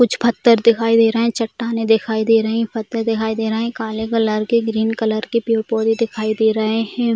कुछ पत्थर दिखाई दे रही है चट्टानें दिखाई दे रही हैं पत्ते दिखाई दे रहे है काले कलर के ग्रीन कलर के पेड़-पौधे दिखाई दे रहे हैं |